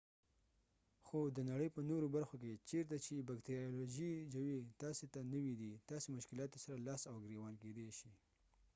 خو د نړئ په نورو برخو کې چیرته چې بکتریالوژیکي ژویي تاسي ته نوی دي تاسې مشکلاتو سره لاس او ګریوان کیدای شي